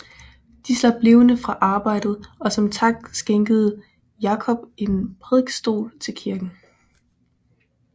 De slap levende fra arbejdet og som tak skænkede Iacob en prædikestol til kirken